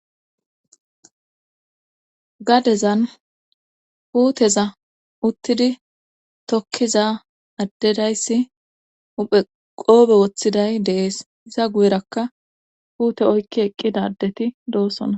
gadezan puuteza uttidi tokkiza addedayssi uphe qoobe woththiday dee'es iza guyerakka puute oykki eqqidadeti doosona